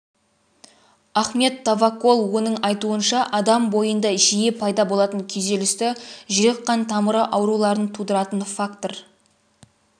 ахмед тавакол оның айтуынша адам бойында жиі пайда болатын күйзелісті жүрек-қан тамыры ауруларын тудыратын фактор